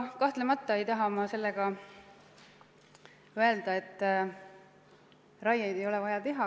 Samas ei taha ma sellega öelda, et raieid ei ole vaja teha.